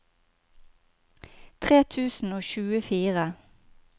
tre tusen og tjuefire